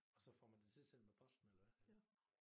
Og så får man det tilsendt med posten eller havd